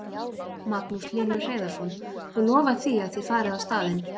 Magnús Hlynur Hreiðarsson: Þú lofar því að þið farið á staðinn?